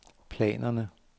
planerne